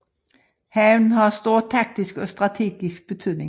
Havnen har stor taktisk og strategisk betydning